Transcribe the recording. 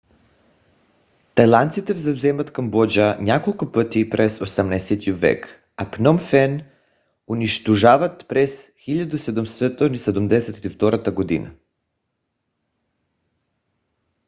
тайландците завземат камбоджа няколко пъти през 18 век а пном фен унищожават през 1772 г